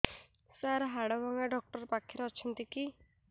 ସାର ହାଡଭଙ୍ଗା ଡକ୍ଟର ପାଖରେ ଅଛନ୍ତି କି